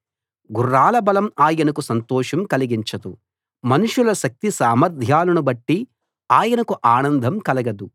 గుర్రాల బలం ఆయనకు సంతోషం కలిగించదు మనుషుల శక్తి సామర్ధ్యాలను బట్టి ఆయనకు ఆనందం కలగదు